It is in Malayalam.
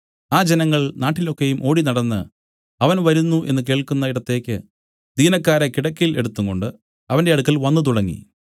ആ ജനങ്ങൾ നാട്ടിൽ ഒക്കെയും ഓടിനടന്ന് അവൻ വരുന്നു എന്നു കേൾക്കുന്ന ഇടത്തേക്ക് ദീനക്കാരെ കിടക്കയിൽ എടുത്തുംകൊണ്ട് അവന്റെ അടുക്കൽ വന്നു തുടങ്ങി